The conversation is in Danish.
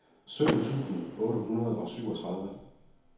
sytten tusind otte hundrede og syvogtredive